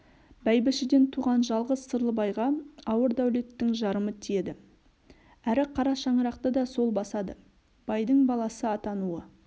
бәйбішеден туған жалғыз сырлыбайға ауыр дәулеттің жарымы тиеді әрі қара шаңырақты да сол басады байдың баласы атануы